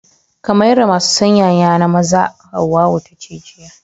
Ka mayar da masu sanyaya na maza, Hauwau ta ce jiya.